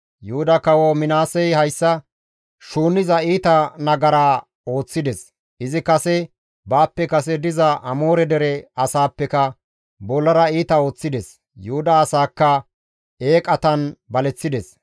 «Yuhuda kawo Minaasey hayssa shuunniza iita nagara ooththides; izi kase baappe kase diza Amoore dere asaappeka bollara iita ooththides. Yuhuda asaakka eeqatan baleththides.